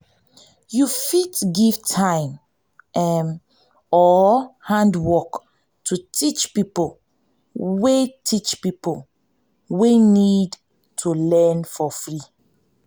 you fit give time or handwork to teach pipo wey teach pipo wey need to learn for free